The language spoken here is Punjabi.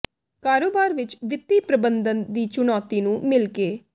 ਕਾਰੋਬਾਰ ਵਿਚ ਵਿੱਤੀ ਪ੍ਰਬੰਧਨ ਦੀ ਚੁਣੌਤੀ ਨੂੰ ਮਿਲ ਕੇ